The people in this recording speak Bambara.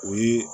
O ye